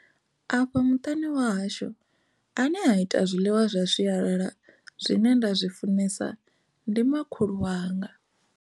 Afha muṱani wa hashu ane a ita zwiḽiwa zwa sialala zwine nda zwi funesa ndi makhulu wanga.